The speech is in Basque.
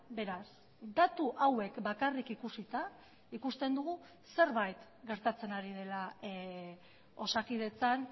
beraz datu hauek bakarrik ikusita ikusten dugu zerbait gertatzen ari dela osakidetzan